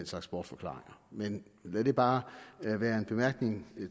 slags bortforklaringer men lad det bare være en bemærkning